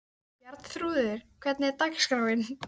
Bjarnþrúður, hvernig er dagskráin?